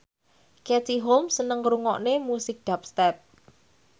Katie Holmes seneng ngrungokne musik dubstep